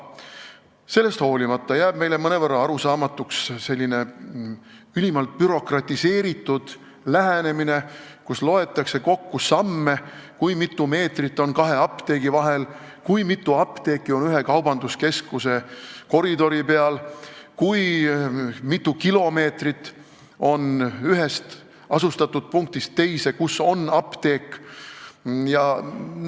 Sellest hoolimata jääb meile mõnevõrra arusaamatuks selline ülim bürokratiseerimine, et loetakse kokku samme, kui mitu meetrit on kahe apteegi vahel, kui mitu apteeki on ühe kaubanduskeskuse koridori peal, kui mitu kilomeetrit on ühest asustatud punktist, kus on apteek, teise.